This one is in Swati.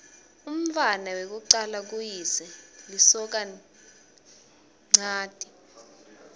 umntfwana wekucala kuyise lisokanchanti